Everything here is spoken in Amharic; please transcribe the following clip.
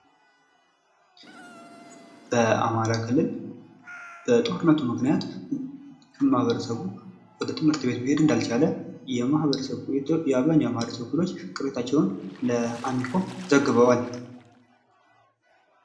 በአማራ ክልል በጦርነቱ ምክንያት ማኅበረሰቡ ወደ ትምህርት ቤት መሄድ እንዳልቻለ አብዛሃኛው የማኅበረሰቡ ክፍሎች ቅሬታቸውን ለአሚኮ ዘግበዋል።